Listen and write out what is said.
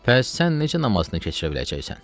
Bəs sən necə namazını keçirə biləcəksən?